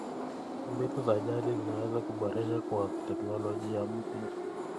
Mbinu za jadi zinaweza kuboreshwa kwa teknolojia mpya.